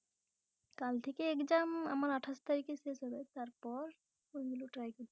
কাল থেকে Exam আমার আটাশ তারিখে শেষ হয়ে যাচ্ছে তারপর ওইগুলো Try করবো